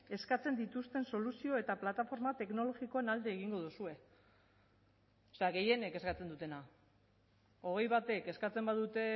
eskatzen dituzten soluzio eta plataforma teknologikoen alde egingo duzue gehienek eskatzen dutena hogei batek eskatzen badute